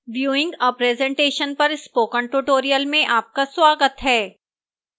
viewing a presentation पर spoken tutorial में आपका स्वागत है